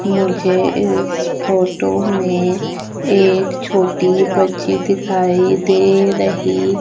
मुझे इस फोटो में एक छोटी बच्ची दिखाई दे रही--